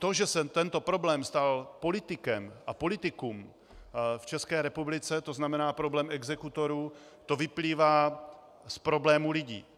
To, že se tento problém stal politikem a politikum v České republice, to znamená problém exekutorů, to vyplývá z problémů lidí.